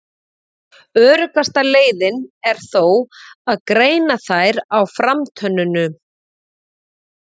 Öruggasta leiðin er þó að greina þær á framtönnunum.